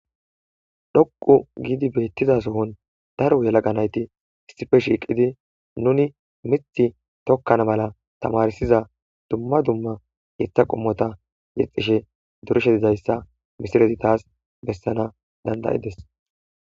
Dhoqqu gidi bethizza sohon daaro yelaga naytti issippe shiqidi nuni mitti tokana malla tamarsiza dumma dumma miththa qommotha yexishe durishshe dizayssa missilezi tas bessanas dandai'dess.